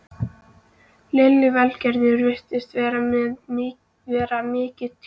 Lillý Valgerður: Virðist þetta vera mikið tjón?